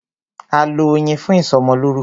A lọ Oyin fún ìsọmọlórúkọ.